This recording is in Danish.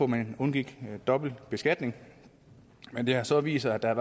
man undgik dobbeltbeskatning men det har så vist sig at der